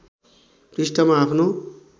पृष्ठमा आफ्नो